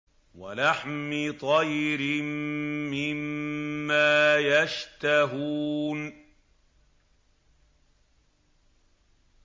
وَلَحْمِ طَيْرٍ مِّمَّا يَشْتَهُونَ